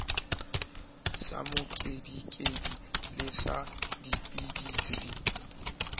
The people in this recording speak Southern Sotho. sa mokedikedi le sa dipidisi